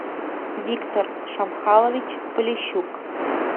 виктор шамхалович полищук